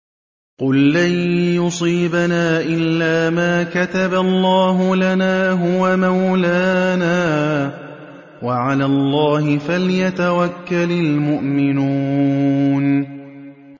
قُل لَّن يُصِيبَنَا إِلَّا مَا كَتَبَ اللَّهُ لَنَا هُوَ مَوْلَانَا ۚ وَعَلَى اللَّهِ فَلْيَتَوَكَّلِ الْمُؤْمِنُونَ